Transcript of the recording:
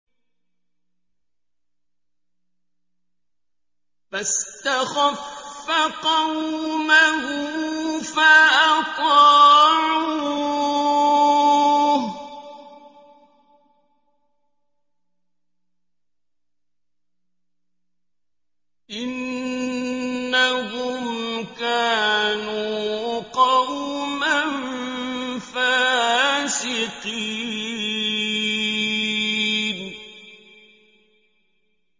فَاسْتَخَفَّ قَوْمَهُ فَأَطَاعُوهُ ۚ إِنَّهُمْ كَانُوا قَوْمًا فَاسِقِينَ